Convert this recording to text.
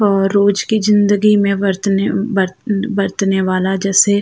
और रोज़ की ज़िन्दगी में बरतने बर बरतने वाला जैसे --